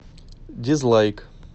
дизлайк